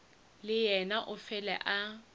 le yena o fele a